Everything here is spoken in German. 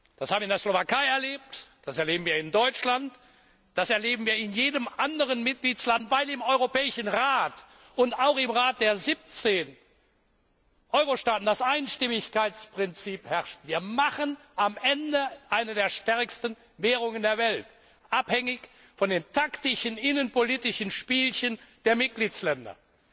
Das haben wir in der Slowakei erlebt, das erleben wir in Deutschland, das erleben wir in jedem anderen Mitgliedstaat, weil im Europäischen Rat und auch im Rat der 17 Euro Staaten das Einstimmigkeitsprinzip herrscht. Wir machen am Ende eine der stärksten Währungen der Welt abhängig von den taktischen innenpolitischen Spielchen der Mitgliedstaaten.